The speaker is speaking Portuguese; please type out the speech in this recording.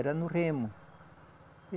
Era no remo.